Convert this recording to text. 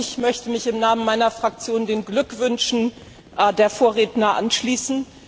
Auch ich möchte mich im Namen meiner Fraktion den Glückwünschen der Vorredner anschließen.